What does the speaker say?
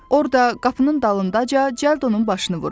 Orda, qapının dalındaca cəlladın başını vurun.